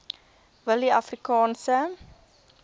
willieafrikaanse